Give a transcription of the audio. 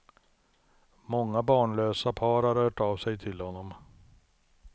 Många barnlösa par har hört av sig till honom.